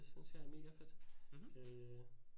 Det synes jeg er megafedt øh